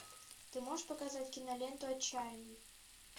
ты можешь показать киноленту отчаянный